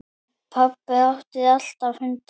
Pabbi átti alltaf hunda.